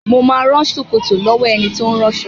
Mo ma rán ṣòkòtò lọ́wọ́ ẹni tí ó ń ránṣọ